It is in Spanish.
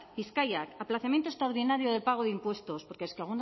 bizkaiak aplazamiento extraordinario del pago de impuestos porque es que